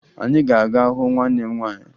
Anyị ga-aga hụ nwanne m nwaanyị